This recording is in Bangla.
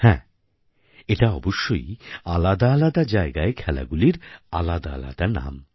হ্যাঁ এটা অবশ্যই আলাদা আলাদা জায়গায় খেলাগুলির আলাদা আলাদা নাম